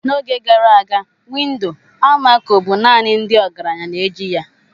N'oge gara aga windo almaco bụ naanị ndị ọgaranya na-eji ya.